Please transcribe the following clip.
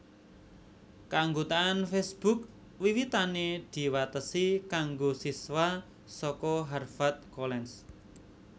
Kaanggotaan Facebook wiwitané diwatesi kanggo siswa saka Harvard College